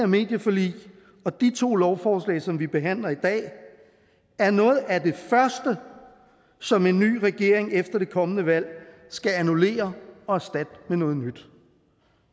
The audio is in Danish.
medieforlig og de to lovforslag som vi behandler i dag er noget af det første som en ny regering efter det kommende valg skal annullere og erstatte med noget nyt